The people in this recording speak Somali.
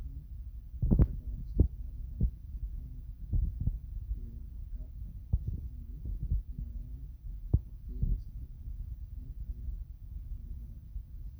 dadka iyo